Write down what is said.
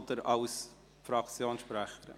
Oder als Fraktionssprecher?